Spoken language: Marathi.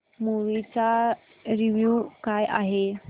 मूवी चा रिव्हयू काय आहे